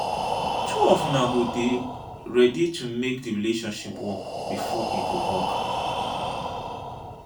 two of una go dey ready to make di relationship work before e go work.